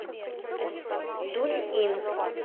дунъин